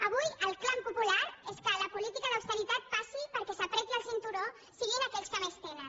avui el clam popular és que la política d’austeritat passi perquè qui s’estrenyi el cinturó siguin aquells que més tenen